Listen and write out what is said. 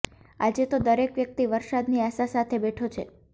આજે તો દરેક વ્યક્તિ વરસાદની આશા સાથે બેઠો છે